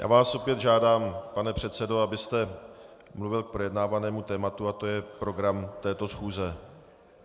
Já vás opět žádám, pane předsedo, abyste mluvil k projednávanému tématu, a to je program této schůze.